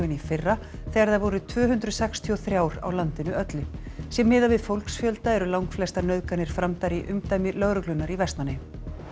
en í fyrra þegar þær voru tvö hundruð sextíu og þremur á landinu öllu sé miðað við fólksfjölda eru langflestar nauðganir framdar í umdæmi lögreglunnar í Vestmannaeyjum